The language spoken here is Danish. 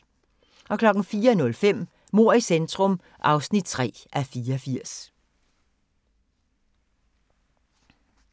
04:05: Mord i centrum (3:84)